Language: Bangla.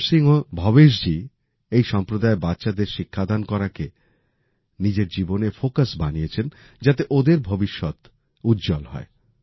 ভীম সিংহ ভবেশ জি এই সম্প্রদায়ের বাচ্চাদের শিক্ষাদান করাকে নিজের জীবনের ফোকাস বানিয়েছেন যাতে ওদের ভবিষ্যৎ উজ্জ্বল হয়